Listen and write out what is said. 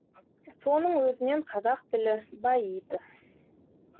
соның өзінен қазақ тілі баиды